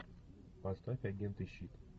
поставь агенты щит